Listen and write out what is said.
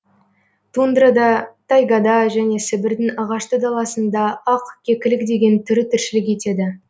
тундрада тайгада және сібірдің ағашты даласында ақ кекілік деген түрі тіршілік етеді